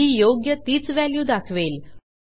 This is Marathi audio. ही योग्य तीच व्हॅल्यू दाखवेल